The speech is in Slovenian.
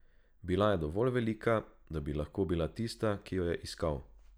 Bila je dovolj velika, da bi lahko bila tista, ki jo je iskal.